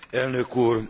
Elnök Úr!